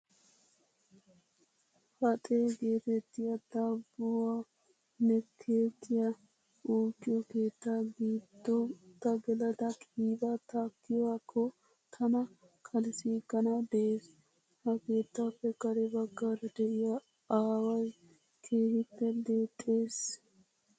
Faxee geetettiyaa daabbuwaanne keekiyaa uukkiyoo keetta giddo ta gelada qiibaa takkiyaakko tana kalissiiganawu de'es. Ha keeettaappe kare baggaara de'iyaa awayii keehippe deexxes.